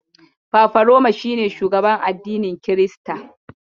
Fafaroma shi ne shugaban addinin Kirista.